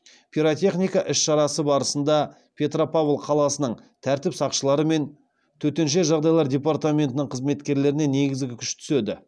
пиротехника іс шарасы барысында петропавл қаласының тәртіп сақшылары мен төтенше жағдайлар департаментінің қызметкерлеріне негізгі күш түседі